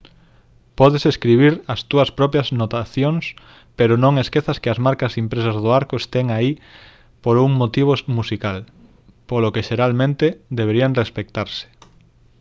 podes escribir as túas propias notacións pero no esquezas que as marcas impresas do arco están aí por un motivo musical polo que xeralmente deberían respectarse